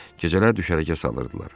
Gecələr düşərgə salırdılar.